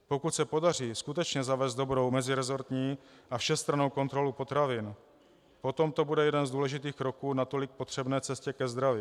Pokud se podaří skutečně zavést dobrou meziresortní a všestrannou kontrolu potravin, potom to bude jeden z důležitých kroků k natolik potřebné cestě ke zdraví.